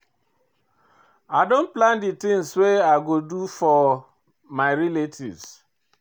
I don plan di tins wey I go do for my relatives.